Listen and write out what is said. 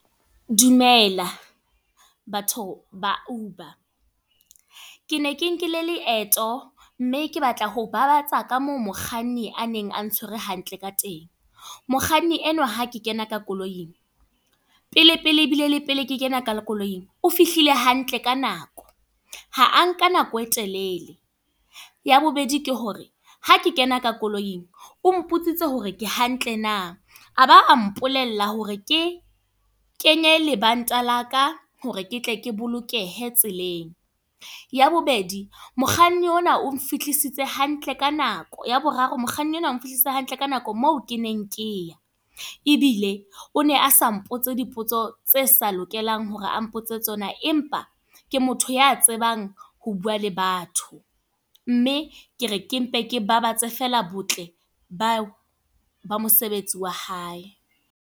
Dumela. Batho, ba Uber. Ke ne ke nkile leeto, mme ke batla ho babatsa ka moo mokganni a neng a ntshwere hantle ka teng. Mokganni enwa hake kena ka koloing. Pele pele ebile le pele ke kena ka koloing. O fihlile hantle ka nako. Ha a nka nako e telele. Ya bobedi ke hore, ha ke kena ka koloing, o mpotsitse hore ke hantle na? a ba mpolella hore, ke kenye e lebanta la ka hore ke tle ke bolokehe tseleng. Ya bobedi, mokganni ona o nfihlisitse hantle ka nako. Ya boraro, mokganni enwa o nfihlisitse hantle ka nako moo ke neng ke ya. Ebile, o ne a sa mpotse dipotso tse sa lokelang hore a mpotse tsona. Empa ke motho ya tsebang ho bua le batho. Mme ke re ke mpe ke babatsa feela, botle ba ba mosebetsi wa hae.